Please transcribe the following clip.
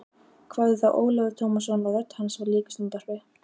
hváði þá Ólafur Tómasson og rödd hans var líkust andvarpi.